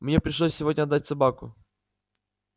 мне пришлось сегодня отдать собаку